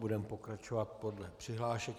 Budeme pokračovat podle přihlášek.